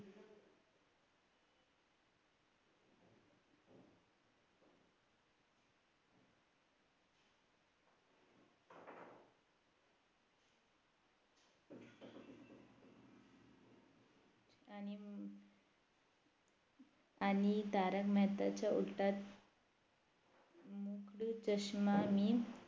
आणि तारक मेहताचा उल्टा मुख्ड चष्मा मी